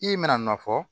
I bɛna nɔ fɔ